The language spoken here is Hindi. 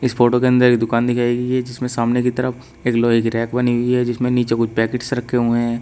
इस फोटो के अंदर एक दुकान दिखाई गई है जिसमें सामने की तरफ एक लोहे की रैक बनी हुई है जिसमें नीचे कुछ पैकेटस रखे हुए हैं।